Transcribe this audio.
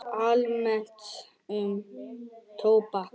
Almennt um tóbak